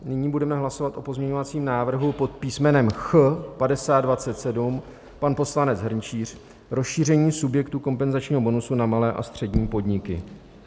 Nyní budeme hlasovat o pozměňovacím návrhu pod písmenem Ch 5027, pan poslanec Hrnčíř, rozšíření subjektů kompenzačního bonusu na malé a střední podniky.